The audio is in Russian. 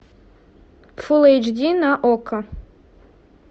фул эйч ди на окко